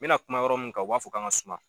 N bɛ na kuma yɔrɔ min kan u b'a fɔ k'an ka suma.